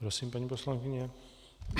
Prosím, paní poslankyně.